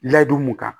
Ladon mun kan